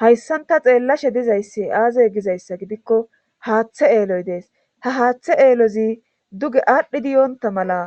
Hayssanta xeellashe dizayssi aazey gizayssa gidikko haaththe eeloy dees ha haaththe eelozi duge aadhdhi diyoonta mala